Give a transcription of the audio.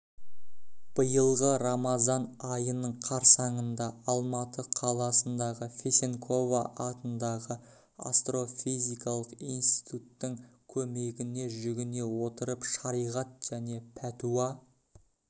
биылғы рамазан айының қарсаңында алматы қаласындағы фесенкова атындағы астрофизикалық институттың көмегіне жүгіне отырып шариғат және пәтуа